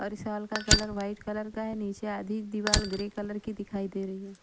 और इस साल का कलर वाइट कलर का है नीचे आधी दीवार ग्रे कलर की दिखाई दे रही है ।